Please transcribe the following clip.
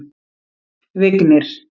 Vignir